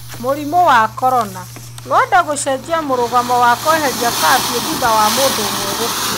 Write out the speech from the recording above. Mũrimũ wa corona: Rwanda gũcenjia mũrũgamo wa kweheria kabiũ thutha ya mũndũ úmwe gũkua.